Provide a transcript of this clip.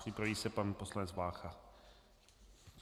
Připraví se pan poslanec Vácha.